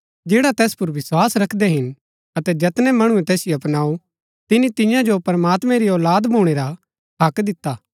जैडा तैस पुर विस्वास रखदै हिन अतै जैतनै मणुऐ तैसिओ अपनाऊ तिनि तियां जो प्रमात्मैं री औलाद भूणै रा हक्क दिता